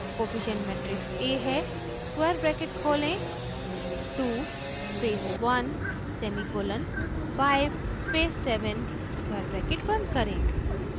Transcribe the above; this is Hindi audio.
कोफिशिएंट मेट्रिक्स a है स्क्वायर ब्रैकेट खोलें 2 space 1 semicolon 5 space 7 square bracket बंद करें